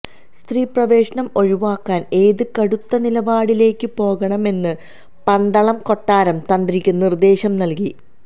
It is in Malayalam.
സ്ത്രീ പ്രവേശനം ഒഴിവാക്കാന് ഏത് കടുത്ത നിലപാടിലേക്കും പോകണമെന്ന് പന്തളം കൊട്ടാരം തന്ത്രിക്ക് നിര്ദ്ദേശവും നല്കി